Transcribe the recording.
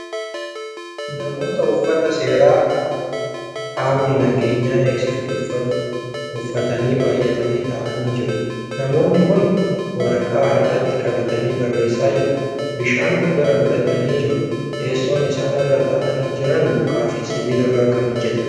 Namoota uffata seeraa qaamni nageenya eegsisu uffatu uffatanii baay'atanii taa'anii jiru. namoonni Kuni waraqaa harkatti qabatanii barreessaa jiru. bishaan of bira godhatanii jiru. teessoon Isaan irra taa'anii Jiran mukaa fi sibiilarraa Kan hojjatameedha.